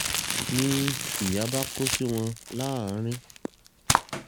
ni ìyà bá kó sí wọn láàrín